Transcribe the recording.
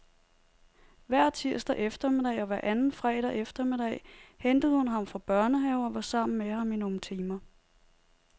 Hver tirsdag eftermiddag og hver anden fredag eftermiddag hentede hun ham fra børnehave og var sammen med ham i nogle timer.